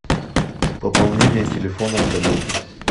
пополнение телефона коллеги